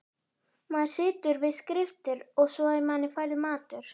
Maður situr við skriftir og svo er manni færður matur.